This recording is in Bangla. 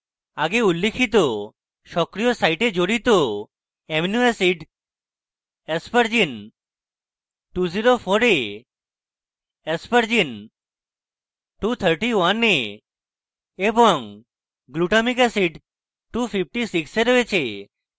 আগে উল্লিখিত সক্রিয় site জড়িত অ্যামিনো acids aspergine 204 এ aspergine 231 এ এবং glutamic acid 256 এ রয়েছে